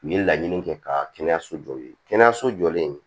U ye laɲini kɛ ka kɛnɛya so jɔ kɛnɛyaso jɔlen